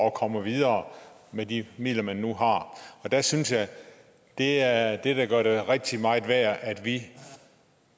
at komme videre med de midler man nu har jeg synes at det er det der gør det rigtig meget værd at vi